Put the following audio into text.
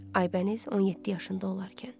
Aybəniz 17 yaşında olarkən.